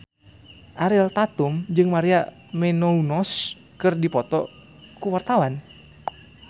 Ariel Tatum jeung Maria Menounos keur dipoto ku wartawan